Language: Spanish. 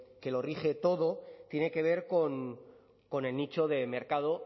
que lo rige todo tiene que ver con el nicho de mercado